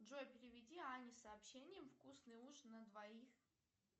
джой переведи ане сообщением вкусный ужин на двоих